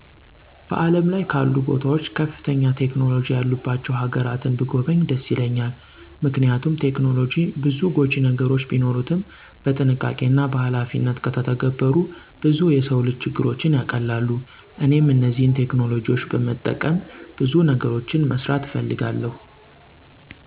በዓለም ላይ ካሉ ቦታዎች ከፍተኛ ቴክኖሎጂ ያሉባቸው ሀገራትን ብጐበኝ ደስ ይለኛል። ምክንያቱም ቴክኖሎጂ ብዙ ጐጂ ነገሮች ቢኖሩትም በጥንቃቄና በኃላፊነት ከተተገበሩ ብዙ የሰው ልጅ ችግሮችን ያቀላሉ። እኔም እነዚህን ቴክኖሎጂዎች በመጠቀም ብዙ ነገሮችን መስራት እፈልጋለሁ።